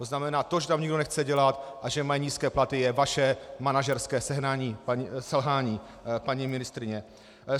To znamená to, že tam nikdo nechce dělat a že mají nízké platy, je vaše manažerské selhání, paní ministryně.